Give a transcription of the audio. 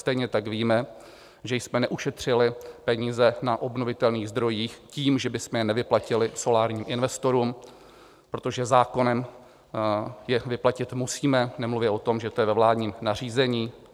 Stejně tak víme, že jsme neušetřili peníze na obnovitelných zdrojích tím, že bychom je nevyplatili solárním investorům, protože zákonem je vyplatit musíme, nemluvě o tom, že je to ve vládním nařízení.